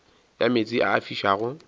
ya meetse a a fišago